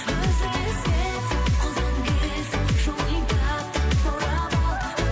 өзіңе сен қолдан келсе жолын тап та баурап ал